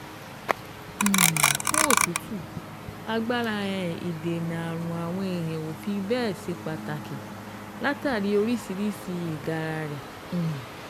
um Fún òtútù, agbára um ìdènà ààrùn àwọn èèyàn ò fi bẹ́ẹ̀ ṣe pàtàkì látàrí oríṣiríṣi ìgara rẹ̀ um